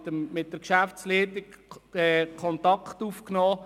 Ich nahm Kontakt mit der Geschäftsleitung auf.